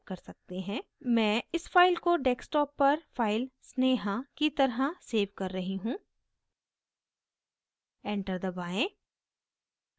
मैं इस file को desktop पर file sneha की तरह सेव कर रही हूँ enter दबाएं